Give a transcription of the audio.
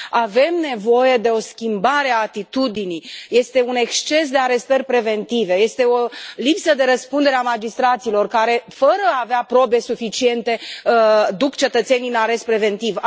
Avem nevoie de o schimbare a atitudinii, este un exces de arestări preventive, este o lipsă de răspundere a magistraților care, fără a avea probe suficiente, duc cetățeni în arest preventiv.